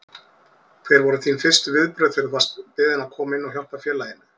Hver voru þín fyrstu viðbrögð þegar þú varst beðinn að koma inn og hjálpa félaginu?